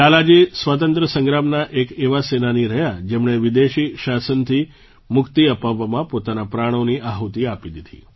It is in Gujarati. લાલાજી સ્વાતંત્ર્ય સંગ્રામના એક એવા સેનાની રહ્યા જેમણે વિદેશી શાસનથી મુક્તિ અપાવવામાં પોતાના પ્રાણોની આહુતિ આપી દીધી